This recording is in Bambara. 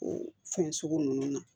O fɛn sugu ninnu na